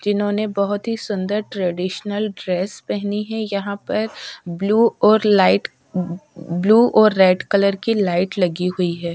इन्होने बोहोत ही सुंदर ट्रेडिशनल ड्रेस पेहनी है यहाँ पर ब्लू और लाईट ब्लू और रेड कलर की लाईट लगी हुई है।